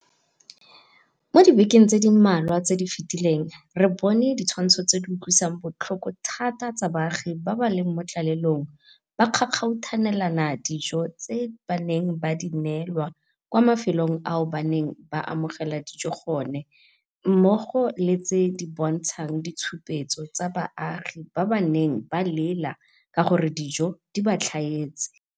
Mo dibekeng di le mmalwa tse di fetileng, re bone ditshwantsho tse di utlwisang botlhoko thata tsa baagi ba ba leng mo tlalelong ba kgakgauthanelana dijo tse ba neng ba di neelwa kwa mafelong ao ba neng ba amogela dijo gone mmogo le tse di bontshang ditshupetso tsa baagi ba ba neng ba lela ka gore dijo di ba tlhaetse.